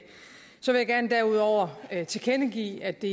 så vil jeg derudover gerne tilkendegive at det